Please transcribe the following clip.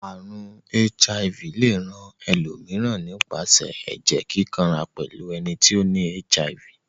Àrùn HIV le rán elòmíràn nípasẹ̀ ẹ́jẹ́ kíkanra pẹ́lu eni ti o ni HIV